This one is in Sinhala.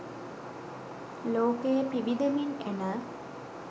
ලෝකයේ පිබිදෙමින් එන